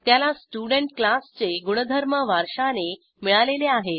त्याला स्टुडेंट क्लासचे गुणधर्म वारशाने मिळालेले आहेत